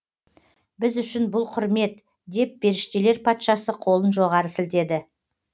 біз үшін бұл құрмет деп періштелер патшасы қолын жоғары сілтеді